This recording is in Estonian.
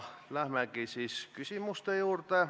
Lähemegi siis küsimuste juurde.